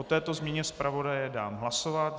O této změně zpravodaje dám hlasovat.